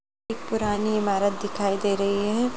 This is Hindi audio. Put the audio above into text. एक पुरानी इमारत दिखाई दे रही है।